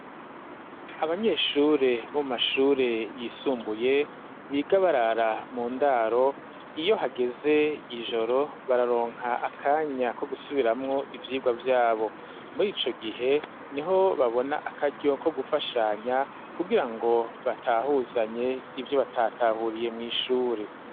Abanyeshure mu mashure yisumbuye bigabarara mu ndaro iyo hageze ijoro bararonka akanya ko gusubiramu ivyigwa vyabo muri ico gihe niho babona akaryo ko gufashanya kugira ngo batahuzanye ibyo batatahuriye mw'ishure.